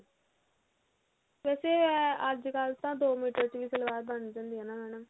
ਵੈਸੇ ਅਹ ਅੱਜਕਲ ਤਾਂ ਦੋ ਮੀਟਰ ਚ ਵੀ ਸਲਵਾਰ ਬਣ ਜਾਂਦੀ ਆ ਨਾ madam